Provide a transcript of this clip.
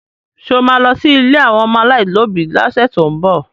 Ṣé o ma lọ sí ilé àwọn ọmọ aláìlóbi lọ́sẹ̀ tó ń bọ̀?